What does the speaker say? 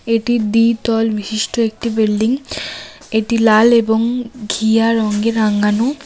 এটি দ্বিতল বিশিষ্ট একটি বিল্ডিং এটি লাল এবং ঘিয়া রঙে রাঙানো।